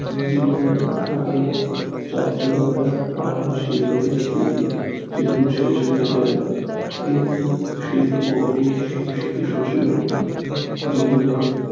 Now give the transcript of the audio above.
জীবনের ফাঁকে চঞ্চলতা শিল্পের স্থিতি শেষ হয়ে যায় কিন্তু শিল্প জীবনের